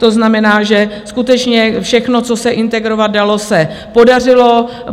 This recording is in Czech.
To znamená, že skutečně všechno, co se integrovat dalo, se podařilo.